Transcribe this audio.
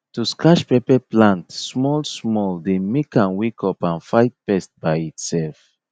to scratch pepper plant small small dey make am wake up and fight pest by itself